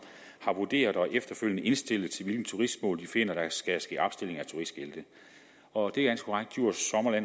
har vurderet og efterfølgende indstillet til hvilke turistmål de finder der skal ske opstilling af turistskilte og det